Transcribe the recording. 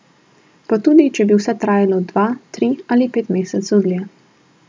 Pa tudi, če bi vse trajalo dva, tri ali pet mesecev dlje.